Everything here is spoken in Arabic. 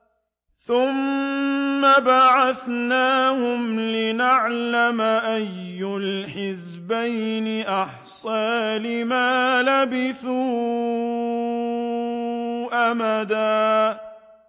ثُمَّ بَعَثْنَاهُمْ لِنَعْلَمَ أَيُّ الْحِزْبَيْنِ أَحْصَىٰ لِمَا لَبِثُوا أَمَدًا